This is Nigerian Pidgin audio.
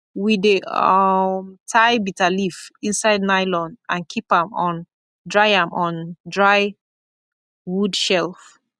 we dey um tie bitterleaf inside nylon and keep am on dry am on dry wood shelf